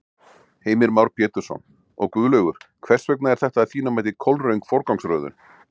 Heimir Már Pétursson: Og Guðlaugur, hvers vegna er þetta að þínu mati kolröng forgangsröðun?